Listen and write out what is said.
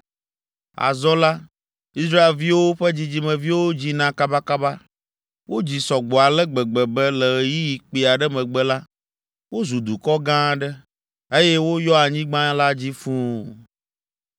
Azɔ la, Israelviwo ƒe dzidzimeviwo dzina kabakaba. Wodzi sɔ gbɔ ale gbegbe be le ɣeyiɣi kpui aɖe megbe la, wozu dukɔ gã aɖe, eye woyɔ anyigba la dzi fũu.